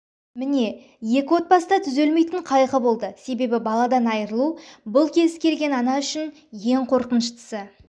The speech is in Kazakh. міне екі отбасыда түзелмейтін қайғы болды себебі баладан айырылу бұл кез келген ата-ана үшін ең қорқыныштысы